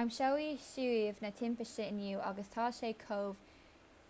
aimsíodh suíomh na timpiste inniu agus tá sé chomh